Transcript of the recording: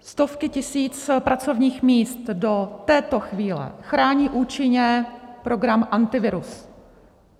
Stovky tisíc pracovních míst do této chvíle chrání účinně program Antivirus.